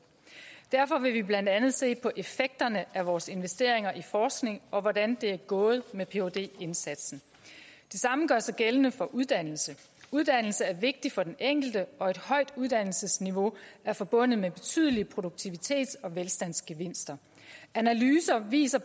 derfor vil vi blandt andet se på effekterne af vores investeringer i forskning og hvordan det er gået med phd indsatsen det samme gør sig gældende for uddannelse uddannelse er vigtigt for den enkelte og et højt uddannelsesniveau er forbundet med betydelige produktivitets og velstandsgevinster analyser viser